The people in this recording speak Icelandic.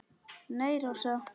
Nei, Rósa.